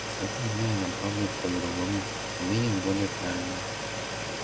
с этого дня она попробует по-другому применит более правильную